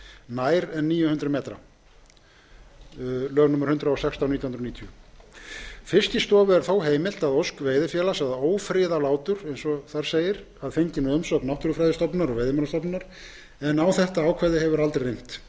nær en níu hundruð m fiskistofu er þó heimilt að ósk veiðifélags að ófriða látur að fenginni umsögn náttúrufræðistofnunar og veiðimálastofnunar en aldrei hefur reynt á það ákvæði landselur